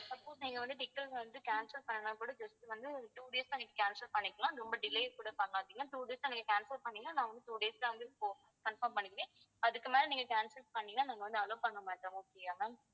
suppose நீங்க வந்து ticket வந்து cancel பண்ணணும்னா கூட just வந்து ஒரு two days ல நீங்க cancel பண்ணிக்கலாம் ரொம்ப delay கூட பண்ணாதீங்க two days ஆ நீங்க cancel பண்ணீங்கன்னா நான் வந்து two days ல வந்து இப்போ confirm பண்ணிக்குவேன் அதுக்கு மேல நீங்க cancel பண்ணீங்கன்னா நாங்க வந்து allow பண்ண மாட்டோம் okay யா ma'am